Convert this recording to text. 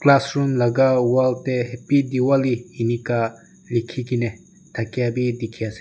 class room laga wall te happy Diwali enika likhe kine thaka bhi dekhi ase.